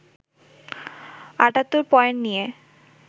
৭৮ point নিয়ে